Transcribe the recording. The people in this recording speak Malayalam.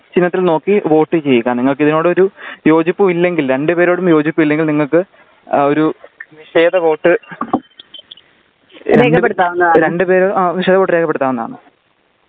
ചിഹ്നത്തിൽ നോക്കി വോട്ട് ചെയ്യുക നിങ്ങൾക്കിതിനോട് ഒരു യോജിപ്പുമില്ലെങ്കിൽ രണ്ടുപേരോടും യോജിപ്പില്ലെങ്കിൽ നിങ്ങൾക്ക് ഒരു നിഷേധ വോട്ട് രണ്ടു പേര് നിഷേധ വോട്ട് രേഖപ്പെടുത്താവുന്നതാണ്